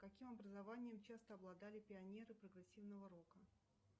каким образованием часто обладали пионеры прогрессивного рока